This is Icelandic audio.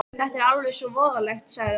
Þetta er alveg svo voðalegt, sagði hún.